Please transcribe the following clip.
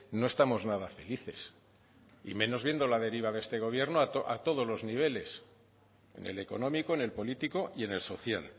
no estamos nada felices y menos viendo la deriva de este gobierno a todos los niveles en el económico en el político y en el social